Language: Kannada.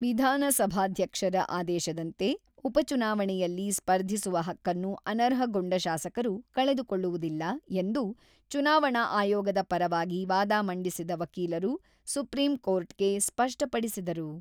ವಿಧಾನಸಭಾಧ್ಯಕ್ಷರ ಆದೇಶದಂತೆ ಉಪಚುನಾವಣೆಯಲ್ಲಿ ಸ್ಪರ್ಧಿಸುವ ಹಕ್ಕನ್ನು ಅನರ್ಹಗೊಂಡ ಶಾಸಕರು ಕಳೆದುಕೊಳ್ಳುವುದಿಲ್ಲ ಎಂದು ಚುನಾವಣಾ ಆಯೋಗದ ಪರವಾಗಿ ವಾದ ಮಂಡಿಸಿದ ವಕೀಲರು ಸುಪ್ರೀಂ ಕೋರ್ಟ್‌ಗೆ ಸ್ಪಷ್ಟಪಡಿಸಿದರು.